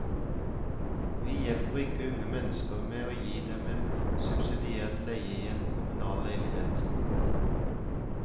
Vi hjelper ikke unge mennesker ved å gi dem en subsidiert leie i en kommunal leilighet.